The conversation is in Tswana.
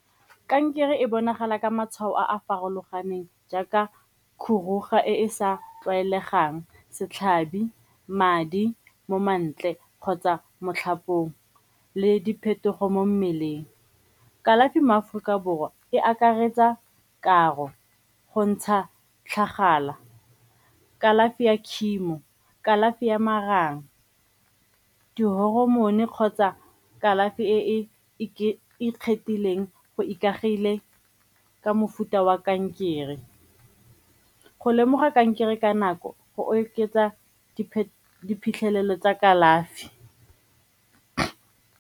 Kankere e bonagala ka matshwao a a farologaneng jaaka e e sa tlwaelegang, setlhabi madi mo mantle kgotsa mo tlhapong le diphetogo mo mmeleng. Kalafi mo Aforika Borwa e akaretsa karo, go ntsha tlhagala, kalafi ya ka chemo, kalafi ya marang, di-hormone kgotsa kalafi e e ikgethileng go ikaegile ka mofuta wa kankere. Go lemoga kankere ka nako go oketsa diphitlhelelo tsa kalafi.